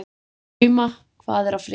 Drauma, hvað er að frétta?